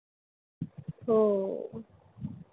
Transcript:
हो.